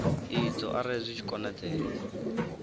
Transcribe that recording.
idzo arali zwi tshi konadzea